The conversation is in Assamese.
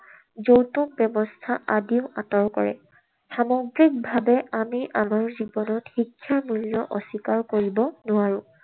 যৌতুক ব্যৱস্থা আদিও আঁতৰ কৰে। সামগ্ৰিকভাৱে আমি আমাৰ জীৱনত শিক্ষাৰ মূল্য অস্বীকাৰ কৰিব নোৱাৰো।